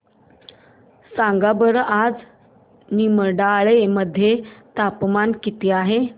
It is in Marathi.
सांगा बरं आज निमडाळे मध्ये तापमान किती आहे